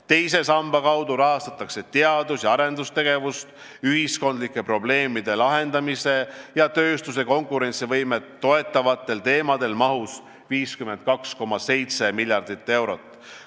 Teise samba kaudu rahastatakse teadus- ja arendustegevust ühiskondlike probleemide lahendamist ja tööstuse konkurentsivõimet toetavatel teemadel mahus 52,7 miljardit eurot.